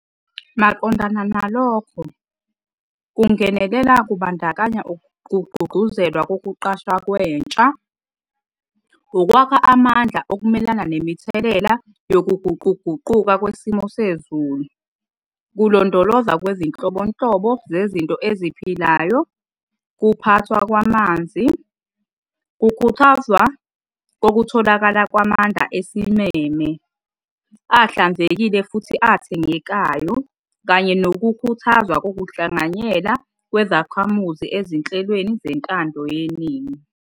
Maqondana nalokho, kungenelela kubandakanya kugqugquzelwa kokuqashwa kwentsha, ukwakha amandla okumelana nemithelela yokuguquguquka kwesimo sezulu, kulondolozwa kwezinhlobonhlobo zezinto eziphilayo, kuphathwa kwamanzi, kukhuthazwa kokutholakala kwamandla esimeme, ahlanzekile futhi athengekayo, kanye nokukhuthazwa kokuhlanganyela kwezakhamuzi ezinhlelweni zentando yeningi.